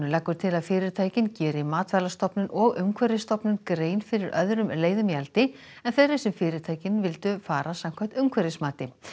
leggur til að fyrirtækin geri Matvælastofnun og Umhverfisstofnun grein fyrir öðrum leiðum í eldi en þeirri sem fyrirtækin vildu fara samkvæmt umhverfismati